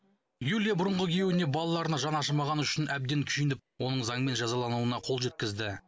юлия бұрынғы күйеуіне балаларына жаны ашымағаны үшін әбден күйініп оның заңмен жазалануына қол жеткізді